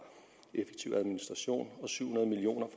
effektiv administration og syv hundrede million